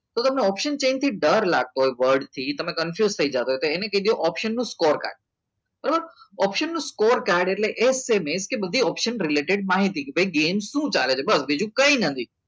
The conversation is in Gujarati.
તો તમને option change થી ડર લાગતો હોય વડથી તમે confused થઈ જતા હોય તો એને અવસર નો score રાખે બરાબર અવસર નો score કાર્ડ એટલે એટલે એ જ બધી અસર related માહિતી કે કેમ શું ચાલે છે બસ બીજું કંઈ નથી